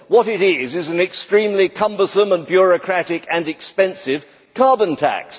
What it is is an extremely cumbersome and bureaucratic and expensive carbon tax.